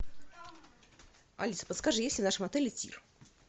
алиса подскажи есть ли в нашем отеле тир